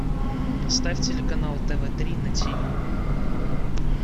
поставь телеканал тв три на тиви